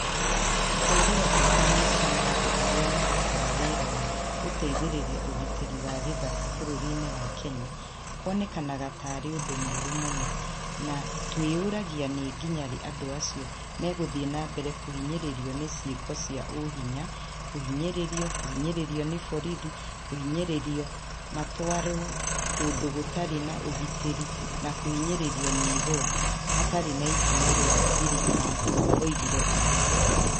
" Kũ agĩra bata maica ma andũ arĩa marutaga wĩra wa gũteithĩrĩria ũgitĩri wa gĩthaka bũrũri-inĩ wa Kenya kuonekaga ta arĩ ũndũ mũru mũno na nĩ twĩyũragia nĩ nginya rĩ andũ acio megũthiĩ na mbere kũhinyĩrĩrio nĩ ciĩko cia ũhinya, kũhinyĩrĩrio, kũhinyĩrĩrio nĩ borithi, kũhinyĩrĩrio matwarwo kũndũ gũtarĩ na ũgitĩri na kũhinyĩrĩrio nĩ igooti hatarĩ na ikinya rĩa thirikari, ⁇ oigire ũguo.